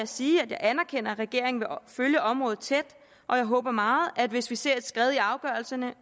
sige at jeg anerkender at regeringen vil følge området tæt og jeg håber meget at hvis vi ser et skred i afgørelserne